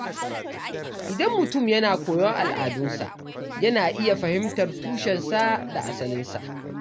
Idan mutum yana koyon al’adunsa, yana iya fahimtar tushensa da asalinsa.